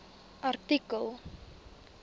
artikel